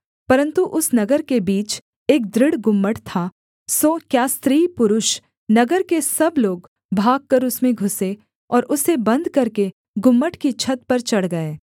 परन्तु उस नगर के बीच एक दृढ़ गुम्मट था इसलिए क्या स्त्री क्या पुरुष नगर के सब लोग भागकर उसमें घुसे और उसे बन्द करके गुम्मट की छत पर चढ़ गए